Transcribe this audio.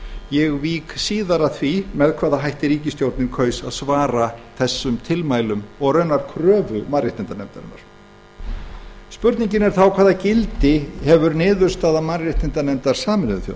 nefndarinnar ég vík síðar að því með hvaða hætti ríkisstjórnin kaus að svara þessum tilmælum og raunar kröfu mannréttindanefndarinnar spurningin er þá hvaða gildi hefur niðurstaða mannréttindanefndar sameinuðu